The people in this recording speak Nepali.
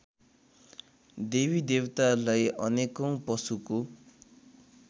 देवीदेवतालाई अनेकौँ पशुको